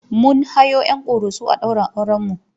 Mun hayo 'yan Ƙoroso a ɗaurin aurenmu.